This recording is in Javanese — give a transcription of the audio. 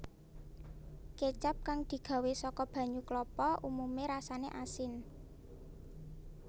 Kécap kang digawé saka banyu klapa umumé rasané asin